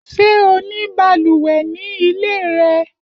Ṣé o ní balùwẹ̀ ní ilé rẹ?